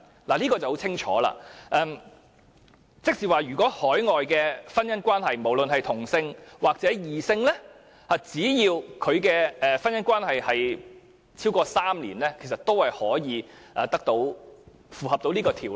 這可說相當清楚，換言之，若屬海外婚姻關係，不論是同性還是異性婚姻，只要關係持續超過3年，便可符合《條例》的規定。